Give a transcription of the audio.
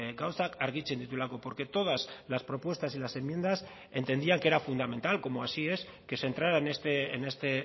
gauzak argitzen dituelako porque todas las propuestas y las enmiendas entendían que era fundamental como así es que se entrara en este